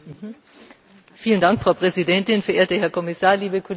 Frau Präsidentin, verehrter Herr Kommissar, liebe Kolleginnen, liebe Kollegen!